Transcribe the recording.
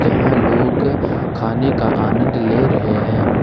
यहां लोग खाने का आनंद ले रहे हैं।